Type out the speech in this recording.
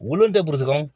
Wolon tɛ burusi kɔnɔ